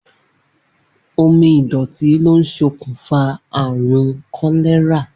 Omi ìdò̩tí ló ń s̩okùnfà àrùn kó̩lé̩rà